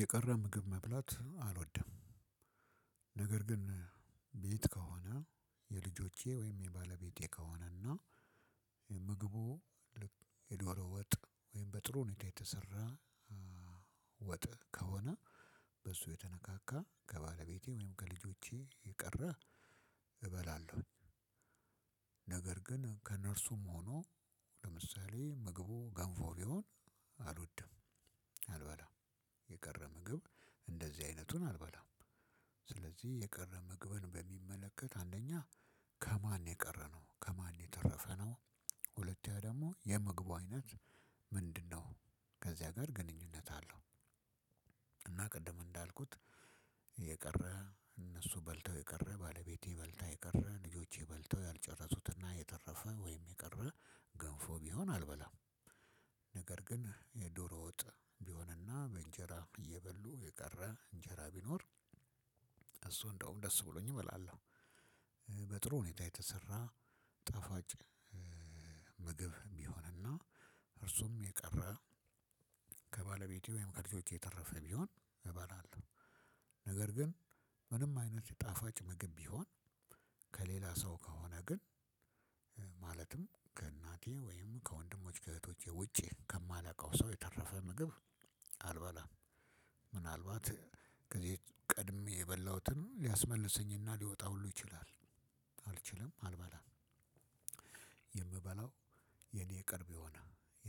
የቀረ ምግብ መብላት አልወደም ነገር ግን ቤት ከሆነ የልጆቼ ወይም የባለቤቴ ከሆነና ምግቡ የዶሮ ወጥ ወይም በጥሩ ሁኔታ የተሰራ ወጥ ከሆነ በሱ የተነካካ ከባለቤቴ ወይም ከልጆቼ የቀረ እበላለሁ። ነገር ግን ከእነርሱም ሆኖ ለምሳሌ ምግቡ ገንፎ ቢሆን አልወድም አልበላም የቀረ ምግብ እንደዚህ አይነቱን አልበላም። ስለዚህ የቀረ ምግብን በሚመለከት አንደኛ ከማን የቀረ ነው ከማን የተረፈ ነው። ሁለተኛ ደግሞ የምግቡ አይነት ምንድነው? ከዛ ጋር ግንኙነት አለው። እና ቅድም እንዳልኩት የቀረ እነሱ በልተው የቀረ ባለቤቴ በልታ የቀረ ልጆቼ በልተው ያልጨረሱትና የተረፈ ወይም የቀረ ገንፎ ቢሆን አልበላም። ነገር ግን የዶሮ ወጥ ቢሆንና በእንጀራ እየበሉ የቀር እንጀራ ቢኖር እሱን እንደውም ደስ ብሎኝ እበላለሁ። በጥሩ ሁኔታ የተሰራ ጣፍጭ ምግብ ቢሆንና እርሱም የቀረ ከባለቤቴ ወይም ከልጆቼ የተረፈ ቢሆን እባላለሁ። ነገር ግን ምንም አይነት ጣፋጭ ምግብ ቢሆን ከሌላ ሰው ከሆነ ግን ማለትም ከእናቴ ወይም ከወንድሞች ከእህቶቼ ውጪ ከማላውቀው ሰው የተረፈ ምግብ አልበላም። ምናልባት ከዚህ ቀድሜ የበላሁትን ሊያስመልሰኝና ሊወጣ ሁሉ ይችላል አልችልም አልበላም። የምበላው የእኔ ቅርብ የሆነ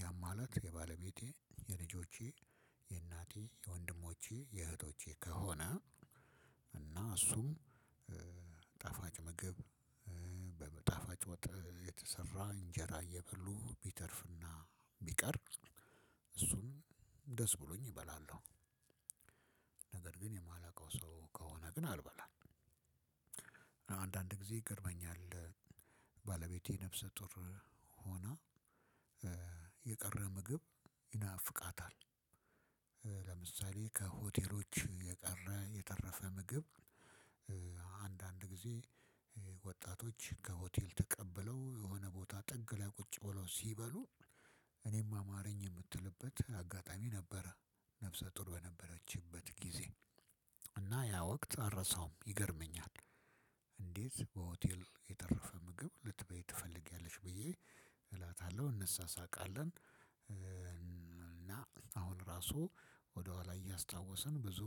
ያም ማለት የባለቤት የልጆቼ የእናቴ የወንድሞቼ የእህቶቼ ከሆነ እና እሱም ጣፋጭ ምግብ በጣፋጭ ወጥ የተሰራ እንጀራ እየበሉ ቢተርፍና ቢቀር እሱን ደስ ብሎኝ እበላለሁ። ነገር ግን የማላውቀው ሰው ከሆነ ግን አልበላም። አንዳንድ ጊዜ ይገርመኛል። ባለቤቴ ነፍሰ ጡር ሆና የቀረ ምግብ ይናፍቃታል። ለምሳሌ ከሆቴሎች የቀረ የተረፈ ምግብ። አንዳንድ ጊዜ ወጣቶች ከሆቴል ተቀብለው የሆነ ቦታ ጥግ ላይ ቁጭ ብለው ሲበሉ እኔም አማርኝ የምትልበት አጋጣሚ ነበረ። ነፍሰ ጡሩ በነበረችበት ጊዜ እና ያ ወቅት አረሳውም ይገርመኛል። እንዴት በሆቴል የተረፈ ምግብ ልትበይ ትፈልጊያለሽ ብዬ እላታለሁ እነሳሳቃለን። አሁን ራሱ ወደኋላ እያስታወስን ብዙ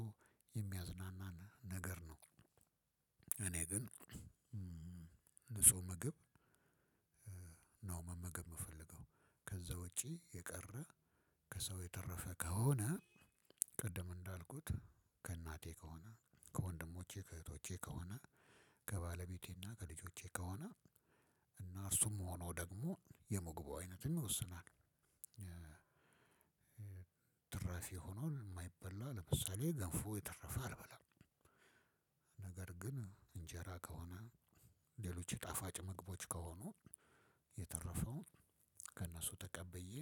የሚያዝናናን ነገር ነው። እኔ ግን ንጹህ ምግብ ነው መመገብ የምፈልገው። ከዛ ውጪ የቀረ ከሰው የተረፈ ከሆነ ቅድም እንዳልኩት ከእናቴ ከሆነ ከወንድሞቼ ከእህቶቼ ከሆነ ከባለቤቴና ከልጆቼ ከሆነ እና እርሱም ሆኖ ደግሞ የምግቡው አይነትም ይወስናል። ትራፊ ሆኖ የማይበላ ለምሳሌ ገንፎ የተረፈ አልበላም። ግን እንጀራ ከሆነ ሌሎች የጣፋጭ ምግቦች ከሆኑ የተረፈውን ከእነሱ ተቀብዬ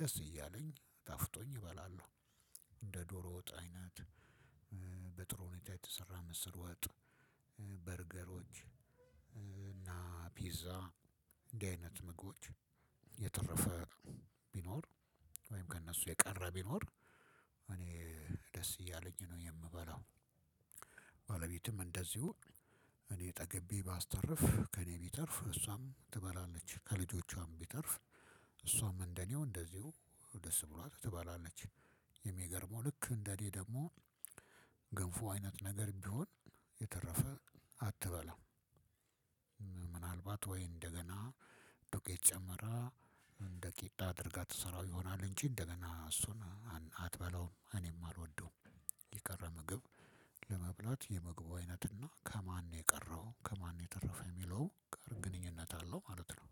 ደስ እያለኝ ጣፍጦኝ እበላለሁ። እንደ ዶሮ ወጥ አይነት በጥሩ ሁኔታ የተሰራ ምስር ወጥ በርገሮች እና ፒዛ እንዲህ አይነት ምግቦች የተረፈ ቢኖር ወይም ከእነሱ የቀረ ቢኖር እኔ ደስ እያለኝ ነው የምበላው። ባለቤትም እንደዚሁ እኔ ጠግቤ ባስተርፍ ከእኔ ቢተርፍ እሷም ትበላለች ከልጆቿም ቢተርፍ እሷም እንደኔው እንደዚሁ ደስ ብሏት ትባላለች። የሚገርመው ልክ እንደእኔ ደግሞ ገንፎ አይነት ነገር ቢሆን የተረፈ አትበላም። ወይ እንደገና ዱቄት ጨመራ እንደ ቂጣ አድርጋ ትሰራው ይሆናል እንጂ እንደገና እሱን አትበላውም እኔም አልወደውም። የቀረ ምግብ ለመብላት የምግቡ አይነት እና ከማን የቀረው ከማን የተረፈ የሚለው ጋር ግንኙነት አለው ማለት ነው።